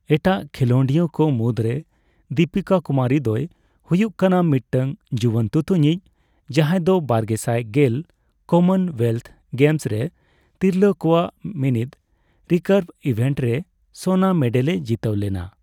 ᱮᱴᱟᱜ ᱠᱷᱮᱞᱚᱸᱰᱤᱭᱟᱹ ᱠᱚ ᱢᱩᱫᱽᱨᱮ ᱫᱤᱯᱤᱠᱟ ᱠᱩᱢᱟᱨᱤ ᱫᱚᱭ ᱦᱩᱭᱩᱜ ᱠᱟᱱᱟ ᱢᱤᱫᱴᱟᱝ ᱡᱩᱣᱟᱹᱱ ᱛᱩᱛᱩᱧᱤᱡ, ᱡᱟᱦᱟᱸᱭ ᱫᱚ ᱵᱟᱨᱜᱮᱥᱟᱭ ᱜᱮᱞ ᱠᱚᱢᱚᱱᱼᱳᱭᱮᱞᱛᱷ ᱜᱮᱢᱥ ᱨᱮ ᱛᱤᱨᱞᱟᱹ ᱠᱚᱣᱟᱜ ᱢᱤᱱᱤᱫ ᱨᱤᱠᱟᱨᱵᱷ ᱤᱵᱷᱮᱱᱴ ᱨᱮ ᱥᱚᱱᱟ ᱢᱮᱰᱮᱞᱮ ᱡᱤᱛᱟᱹᱣ ᱞᱮᱱᱟ ᱾